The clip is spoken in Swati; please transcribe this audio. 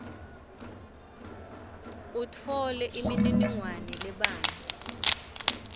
utfole imininingwane lebanti